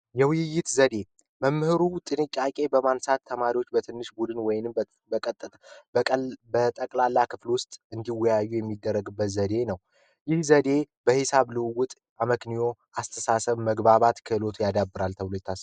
የውይይት ዘዴ መምህሩ ጥንቃቄ በማንሳት ተማሪዎች በትንሽ ቡድን ወይንም በጠቅላላ ክፍል ውስጥ እንዲወያዩ የሚደረግበት አመክሮ አስተሳሰብ መግባባት ክህሎት ያዳብራል ተብሎ ይታሰባል ።